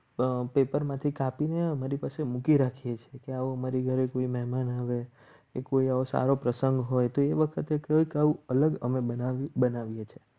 Paper માંથી કાપીને મારી પાસે મૂકી રાખીએ છીએ. કે આવો મારી ઘરે કોઈ મહેમાન આવે એ કોઈ એવો સારો પ્રસંગ હોય તો એ વખતે અલગ અમે બનાવીએ છે.